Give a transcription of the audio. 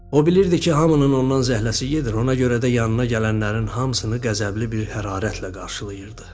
O bilirdi ki, hamının ondan zəhləsi gedir, ona görə də yanına gələnlərin hamısını qəzəbli bir hərarətlə qarşılayırdı.